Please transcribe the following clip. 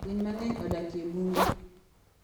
Winy mang'eny odak e bunge.